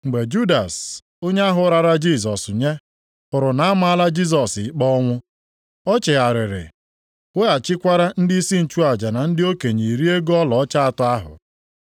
Mgbe Judas, onye ahụ rara Jisọs nye, hụrụ na a maala Jisọs ikpe ọnwụ, o chegharịrị weghachikwara ndịisi nchụaja na ndị okenye iri ego ọlaọcha atọ ahụ.